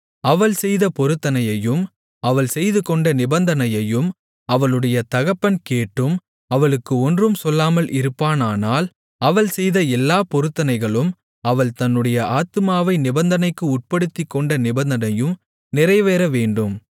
அவள் செய்த பொருத்தனையையும் அவள் செய்துகொண்ட நிபந்தனையையும் அவளுடைய தகப்பன் கேட்டும் அவளுக்கு ஒன்றும் சொல்லாமல் இருப்பானானால் அவள் செய்த எல்லாப் பொருத்தனைகளும் அவள் தன்னுடைய ஆத்துமாவை நிபந்தனைக்கு உட்படுத்திக்கொண்ட நிபந்தனையும் நிறைவேறவேண்டும்